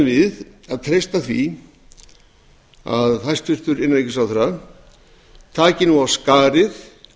við að treysta því að hæstvirtur innanríkisráðherra taki nú af skarið